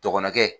Dɔgɔnɔkɛ